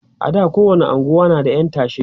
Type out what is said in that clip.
a da kowani unguwa na da ƴan tashe